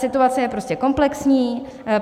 Situace je prostě komplexní.